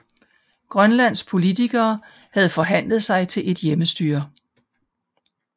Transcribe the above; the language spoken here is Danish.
Grønlands politikere havde forhandlet sig til et hjemmestyre